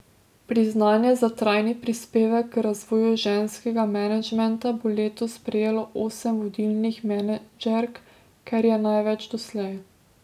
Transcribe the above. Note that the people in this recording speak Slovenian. Priznanje za trajni prispevek k razvoju ženskega menedžmenta bo letos prejelo osem vodilnih menedžerk, kar je največ doslej.